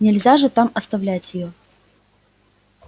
нельзя же там оставлять её